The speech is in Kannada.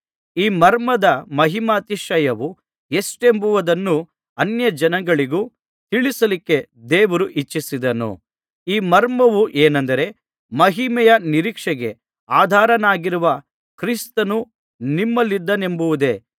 ಈ ಮರ್ಮದ ಮಹಿಮಾತಿಶಯವು ಎಷ್ಟೆಂಬುದನ್ನು ಅನ್ಯಜನಗಳಿಗೂ ತಿಳಿಸಲಿಕ್ಕೆ ದೇವರು ಇಚ್ಛಿಸಿದನು ಈ ಮರ್ಮವು ಏನೆಂದರೆ ಮಹಿಮೆಯ ನಿರೀಕ್ಷೆಗೆ ಆಧಾರನಾಗಿರುವ ಕ್ರಿಸ್ತನು ನಿಮ್ಮಲ್ಲಿದ್ದಾನೆಂಬುದೇ